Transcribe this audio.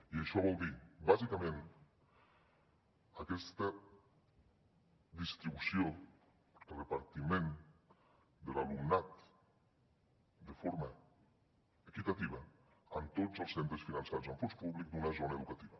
i això vol dir bàsicament aquesta distribució repartiment de l’alumnat de forma equitativa en tots els centres finançats amb fons públics d’una zona educativa